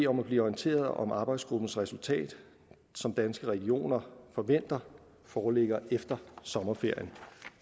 om at blive orienteret om arbejdsgruppens resultat som danske regioner forventer foreligger efter sommerferien